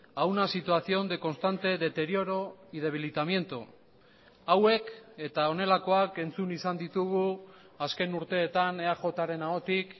a una situación de constante deterioro y debilitamiento hauek eta honelakoak entzun izan ditugu azken urteetan eaj ren ahotik